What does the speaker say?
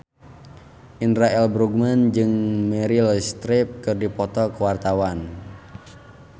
Indra L. Bruggman jeung Meryl Streep keur dipoto ku wartawan